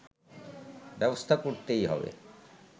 ব্যবস্থা করতেই হবে